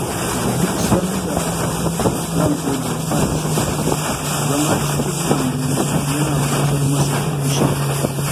Duk sanda ran Audu ya ɓaci, zama a cikin lambu yana gusar masa da fushin